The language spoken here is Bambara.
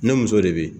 Ne muso de bɛ yen